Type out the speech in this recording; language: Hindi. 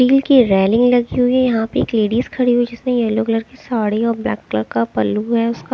रील की ये रेलिंग लगी हुई है यहाँ पे एक लेडिज खड़ी हुई है जिसने येलो कलर की साडी और ब्लैक कलर का पल्लू है उसका।